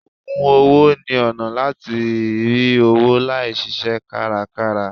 Ògùn owó ni ọ̀nà láti rí owó láì ṣiṣẹ́ kárakára.